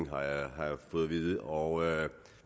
har jeg fået at vide og